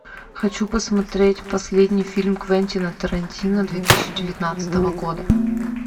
хочу посмотреть последний фильм квентина тарантино две тысячи девятнадцатого года